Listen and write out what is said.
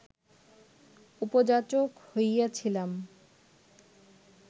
উপযাচক হইয়াছিলাম